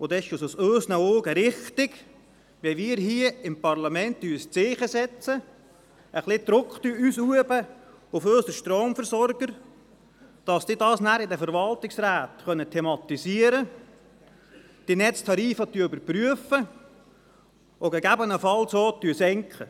Dann ist es in unseren Augen richtig, wenn wir hier im Parlament ein Zeichen setzen, auf unsere Stromversorger etwas Druck ausüben, damit diese das in den Verwaltungsräten thematisieren können, dass diese die Netztarife überprüfen und gegebenenfalls auch senken.